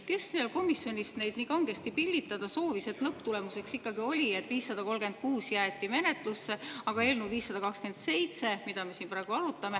Kes seal komisjonis neid nii kangesti pillitada soovis, et lõpptulemuseks ikkagi oli, et 536 jäeti menetlusse, aga eelnõu 527, mida me siin praegu arutame …